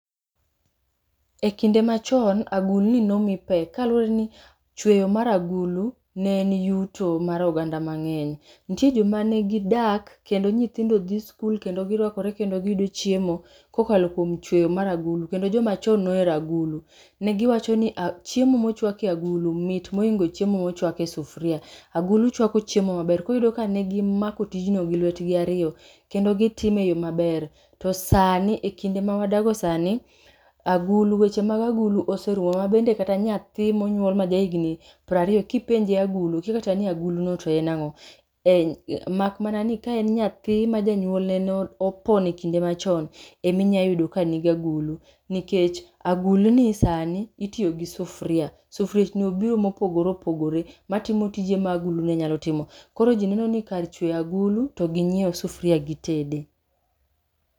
E kinde machon, agulni nomi pek, kaluwore ni chweyo mar agulu ne en yuto mar oganda mang'eny. Nitie joma gidak kendo nyithindo dhi skul kendo girwakore kendo giyudo chiemo kokalo kuom chweyo mar agulu kendo jomachon nohero agulu. Ne giwacho ni chiemo mochwak e agulu mit moloyo chiemo mochwak e sufria. Agulu chwako chiemo maber koro iyudo ka ne gimako tijno gi lwetgi ariyo kendo gitime e yo maber. To sani e kinde ma wadago sani agulu, weche mag agulu oserumo. Ma bende kata nyathi monyuol ma ja higni prariyo, kipenje agulu okia kata ni agulo no to en ang'o. Eh, mak mana ni kaen nyathi ma janyuolne nopon e kinde machon, eminyayudo ka nigagulu. Nikech agulni sani itiyo kod sufria. Sufriechni obiro mopogore opogore matimo tije ma agulu ne nyalo timo. Koro ji neno ni kar chweyo agulu to ginyiew sufria gitede.